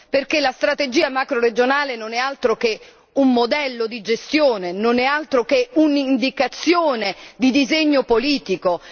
perché la strategia macroregionale non è altro che un modello di gestione, non è altro che un'indicazione di disegno politico.